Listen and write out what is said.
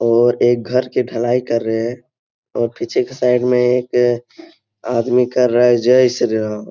और एक घर के ढ़लाई कर रहें हैं और पीछे की साइड में एक आदमी कर रहा है जय श्री राम।